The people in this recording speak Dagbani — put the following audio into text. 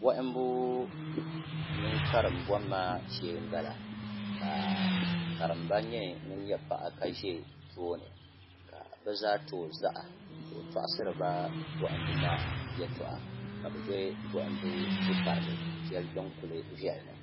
bɔhimbu mini karim bɔmma shee m-bala ka karimba nyɛ ŋun nyɛ paɣa ka ʒe tooni ka bɛ zaa ti o zaɣa ka o tɔɣisiri ba bɔhimbu maa yɛltɔɣa ka bɛ be bɔhimbu du' pariga shɛli din kuli viɛli ni